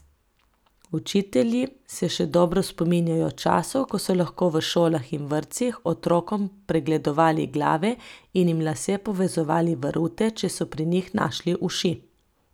Učitelji se še dobro spominjajo časov, ko so lahko v šolah in vrtcih otrokom pregledovali glave in jim lase povezovali v rute, če so pri njih našli uši.